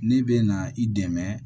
Ne bɛ na i dɛmɛ